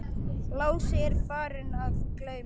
Lási er farinn að geyma.